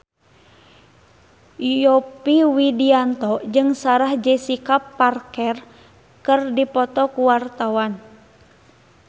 Yovie Widianto jeung Sarah Jessica Parker keur dipoto ku wartawan